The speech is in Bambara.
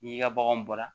N'i ka baganw bɔra